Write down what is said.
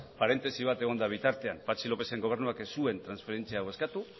parentesi bat egon da bitartean patxi lópezen gobernuak ez zuen transferentzia hau eskatu